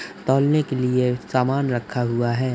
तौलने के लिए सामान रखा हुआ है।